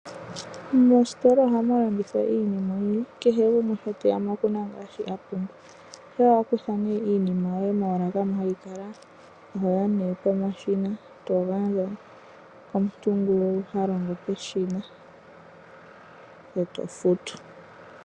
Moositola ohamu landithwa iinima oyindji kehe gumwe shi te ya mo oku na shi a pumbwa. Shampa wa kutha iinima yoye moolaka moka hayi kala oho ya nduno pomashina to gandja komuntu ngoka ha longo peshina, ngoye to futu.